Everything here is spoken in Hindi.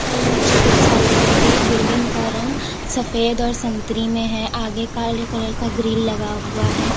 अ चिकित्सालय की बिल्डिंग का रंग सफेद और संतरी में है आगे काले कलर का ग्रील लगा हुआ है।